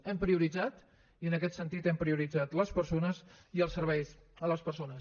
hem prioritzat i en aquest sentit hem prioritzat les persones i els serveis a les persones